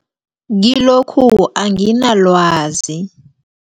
Kilokhu anginalwazi.